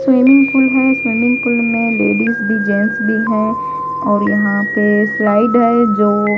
swimming pool है swimming pool में ladies भी जेंट्स भी हैं और यहां पे स्लाइड है जो--